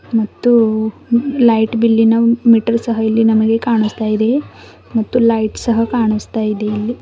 ಮತ್ತು ಲೈಟ್ ಬಿಲ್ಲಿ ನ ಮೆಟಲ್ ಸಹ ಇಲ್ಲಿ ನಮಗೆ ಕಾಣುಸ್ತಾಯಿದೆ ಮತ್ತು ಲೈಟ್ ಸಹ ಕಾಣುಸ್ತಾಯಿದೆ ಇಲ್ಲಿ.